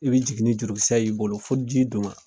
I be jigin ni jurukisɛ y'i bolo fo ji dun ma.